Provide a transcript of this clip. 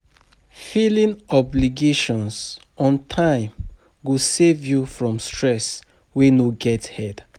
Filing obligations on time go save yu from stress wey no get head